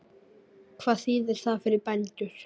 Hvað þýðir það fyrir bændur?